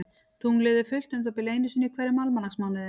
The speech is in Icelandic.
Tunglið er fullt um það bil einu sinni í hverjum almanaksmánuði.